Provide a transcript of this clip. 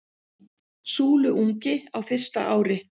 Súluungi á fyrsta ári.